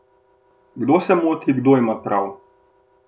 Kdo se moti, kdo ima prav?